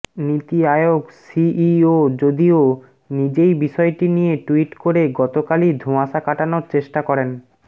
নীতি আয়োগ সিইও যদিও নিজেই বিষয়টি নিয়ে টুইট করে গতকালই ধোঁয়াশা কাটানোর চেষ্টা করেন